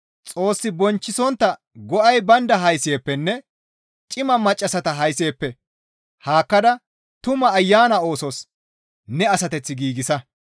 Xoos bonchchisontta go7ay baynda haysi7eppenne cima maccassata haysi7eppe haakkada tuma ayana oosos ne asateth giigsa.